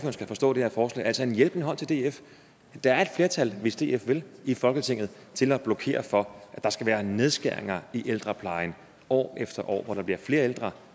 skal forstå det her forslag altså som en hjælpende hånd til df der er et flertal hvis df vil i folketinget til at blokere for at der skal være nedskæringer i ældreplejen år efter år hvor der bliver flere ældre